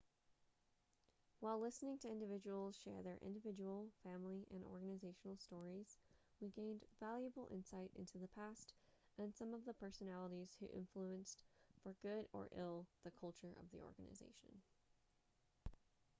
while listening to individuals share their individual family and organizational stories we gained valuable insight into the past and some of the personalities who influenced for good or ill the culture of the organization